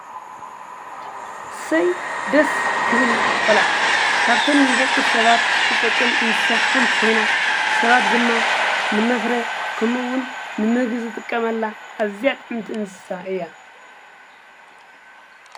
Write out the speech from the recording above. ሰይ ደስ ክብል ቖልዓ ካብተን ንደቂ ሰባት ትጠቅም እንሳሓንቲ ኾይና ሰባት ድማ ንመፍረ ከምውን ንምግ ዘጥቀመላ ኣዚኣጥምቲ እንሳ እያ።